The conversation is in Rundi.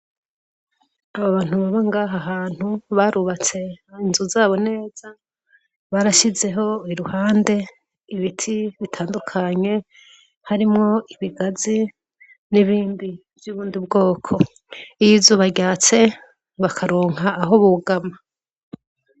Abo bantu baba ngaha hantu, barubatse inzu zabo neza, barashizeho iruhande ibiti bitandukanye , harimwo ibigazi n'ibindi vyubundi bwoko, iy' izuba ryatse bakaronka aho bugama.